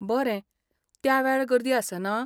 बरें, त्या वेळार गर्दी आसना ?